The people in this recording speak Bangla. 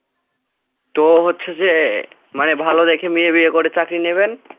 তো হচ্ছে যে মানে ভালো দেখে মেয়ে বিয়ে করে চাকরি নেবেন।